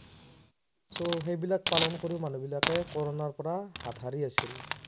সেইবিলাক পালন কৰি মানুহ বিলাকে কৰোনাৰ পৰা হাত শাৰি আছিল।